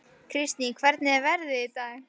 Kristný, hvernig er veðrið í dag?